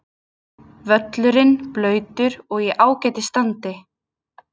Völlurinn blautur og í ágætis standi.